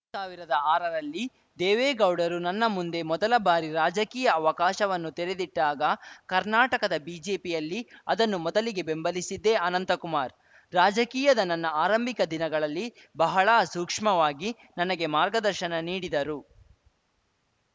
ಎರಡು ಸಾವಿರದ ಆರರಲ್ಲಿ ದೇವೇಗೌಡರು ನನ್ನ ಮುಂದೆ ಮೊದಲ ಬಾರಿ ರಾಜಕೀಯ ಅವಕಾಶವನ್ನು ತೆರೆದಿಟ್ಟಾಗ ಕರ್ನಾಟಕದ ಬಿಜೆಪಿಯಲ್ಲಿ ಅದನ್ನು ಮೊದಲಿಗೆ ಬೆಂಬಲಿಸಿದ್ದೇ ಅನಂತಕುಮಾರ್‌ ರಾಜಕೀಯದ ನನ್ನ ಆರಂಭಿಕ ದಿನಗಳಲ್ಲಿ ಬಹಳ ಸೂಕ್ಷ್ಮವಾಗಿ ನನಗೆ ಮಾರ್ಗದರ್ಶನ ನೀಡಿದರು